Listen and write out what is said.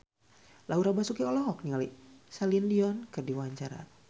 Laura Basuki olohok ningali Celine Dion keur diwawancara